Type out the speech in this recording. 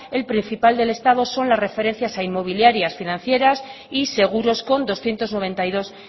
el principal del estado son las referencias a inmobiliarias financieras y seguros con doscientos noventa y dos